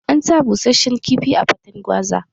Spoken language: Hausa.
An sa bussashen kifi a faten gwaza